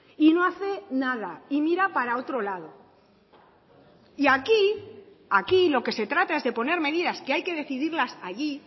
y no hace nada y mira para otro lado y aquí aquí lo que se trata es de poner medidas que hay que decidirlas allí